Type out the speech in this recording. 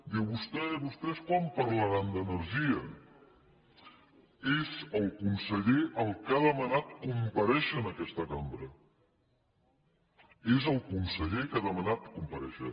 diu vostè vostès quan parlaran d’energia és el conseller el que ha demanat comparèixer en aquesta cambra és el conseller que ha demanat comparèixer